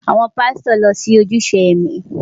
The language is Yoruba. Àwọn pásítọ̀ lo ni ojúṣe ẹ̀mí.